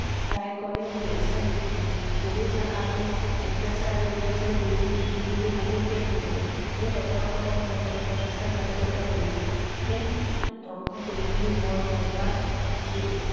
তাই কলে মোৰ ইচ্ছা নেকি? গুৰু চাহাবে অত্যাচাৰ আৰু অত্যাচাৰৰ বিৰুদ্ধে যুঁজিবলৈ বহুত ত্যাগ কৰিছে। এই ৰজা সকলক মই তোমাক বিশ্বাস ঘটোকতা কৰিছে। সেই~বোৰ ধ্বংস কৰিবলৈ মই মোৰ প্ৰাণ চি